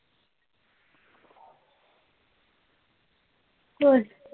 तेच